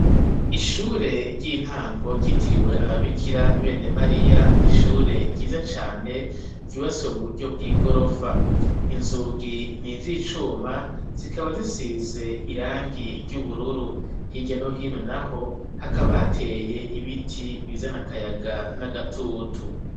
Ishure ry'intango ryitiriwe ababikira bene Mariya, ni ishure ryiza cane ryubatswe mu buryo bw'igorofa. Inzugi ni iz'icuma, zikaba zisize irangi ry'ubururu, hirya no hino naho hakaba hateye ibiti bizana akayaga n'agatutu.